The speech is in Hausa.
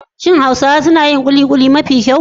Shin Hausawa suna yin kulikuli mafi kyau?